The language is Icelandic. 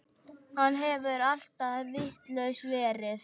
Hann hefur alltaf vitlaus verið.